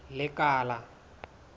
lekala